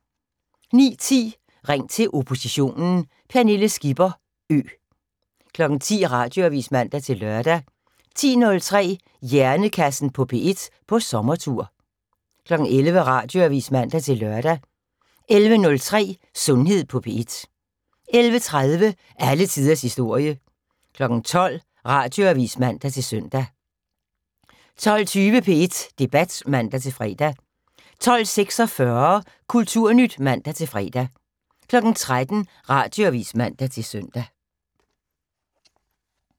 09:10: Ring til oppositionen: Pernille Skipper Ø. 10:00: Radioavis (man-lør) 10:03: Hjernekassen på P1 på sommertur 11:00: Radioavis (man-lør) 11:03: Sundhed på P1 11:30: Alle tiders historie 12:00: Radioavis (man-søn) 12:20: P1 Debat (man-fre) 12:46: Kulturnyt (man-fre) 13:00: Radioavis (man-søn)